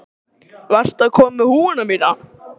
Varstu að koma með húfuna mína?